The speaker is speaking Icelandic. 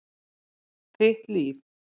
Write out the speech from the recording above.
Þitt líf.